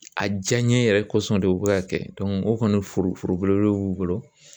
A diyanye yɛrɛ kɔsɔn de bɛ ka kɛ o kɔni foro foro belebele b'u bolo